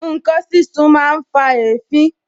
Ǹkan sísun máa ń fa èéfín